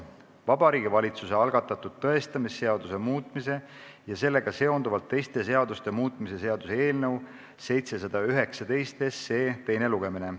Vabariigi Valitsuse algatatud tõestamisseaduse muutmise ja sellega seonduvalt teiste seaduste muutmise seaduse eelnõu 719 teine lugemine.